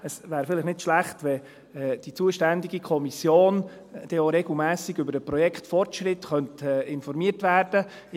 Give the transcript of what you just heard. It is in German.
Es wäre vielleicht nicht schlecht, wenn die zuständige Kommission auch regelmässig über den Projektfortschritt informiert werden könnte.